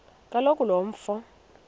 kaloku lo mfo